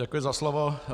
Děkuji za slovo.